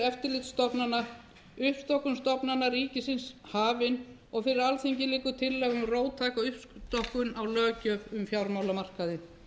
eftirlitsstofnana uppstokkun stofnana ríkisins hafin og fyrir alþingi liggur tillaga um róttæka uppstokkun á löggjöf um fjármálamarkaði